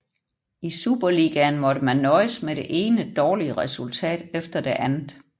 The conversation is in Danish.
I superligaen måtte man nøjes med det ene dårlige resultat efter det andet